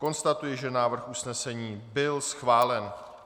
Konstatuji, že návrh usnesení byl schválen.